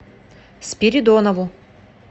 спиридонову